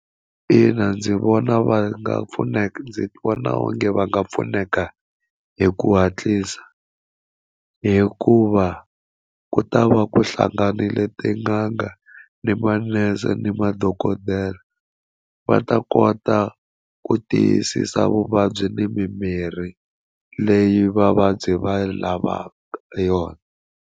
Ina ndzi vona va nga pfuneki ndzi vona onge va nga pfuneka hi ku hatlisa hikuva ku ta va ku hlanganile tin'anga ni manese ni madokodela va ta kota ku tiyisisa vuvabyi ni mimirhi leyi vavabyi va lavaka yona.